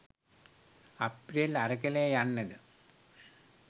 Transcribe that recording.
අප්‍රේල් අරගලය යන්න ද